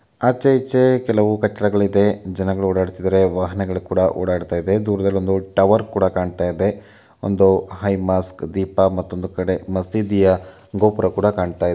ಆಚೆ ಈಚೆ ಕೆಲವು ಕಟ್ಟಡಗಳು ಇದಾವೆ ಜನಗಳು ಓಡಾಡ್ತಾ ಇದ್ದಾರೆ ವಾಹನಗಳು ಕೂಡ ಓಡಾಡ್ತಾ ಇದೆ. ದೂರದಲ್ಲಿ ಒಂದು ಟವರ್ ಕೂಡ ಕಾಣ್ತಾ ಇದೆ. ಒಂದು ಹೈ ಮಾಸ್ಕ್ ದೀಪ ಮತ್ತೊಂದು ಕಡೆ ಮಸೀದಿಯ ಗೋಪುರ ಕೂಡ ಕಾಣ್ತಾ ಇದೆ.